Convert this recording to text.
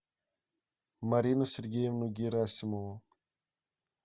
марину сергеевну герасимову